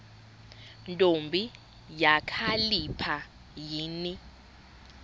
ntombi kakhalipha yini